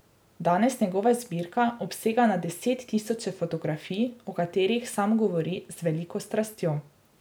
Danes njegova zbirka obsega na deset tisoče fotografij, o katerih sam govori z veliko strastjo.